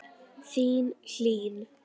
Þín, Hlín.